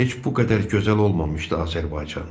Heç bu qədər gözəl olmamışdı Azərbaycan.